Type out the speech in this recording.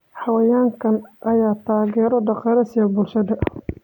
Xayawaankan ayaa taageero dhaqaale siiya bulshada.